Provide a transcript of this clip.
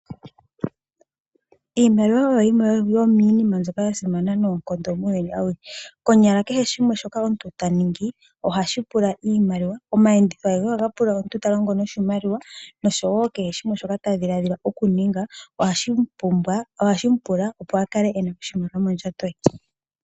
Iimaliwa oyo yimwe yomiinina mbyoka yili ya simana noonkondo muuyuni awuhe. Konyala kehe shimwe shoka omuntu ta ningi ohashi pula iimaliwa. Omayenditho agehe ohaga pula omuntu ta longo noshimaliwa noshowo kehe shimwe shoka omuntu ta dhiladhila oku ninga ohashi mu pula opo a kale ena oshimaliwa mondjato ye.